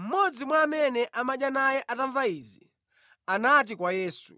Mmodzi mwa amene amadya naye atamva izi, anati kwa Yesu,